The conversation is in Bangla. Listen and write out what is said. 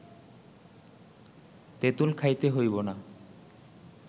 তেঁতুল খাইতে হইব না